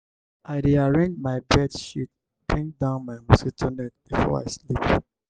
i dey arrange my bed sheet bring down my mosquito net before i sleep.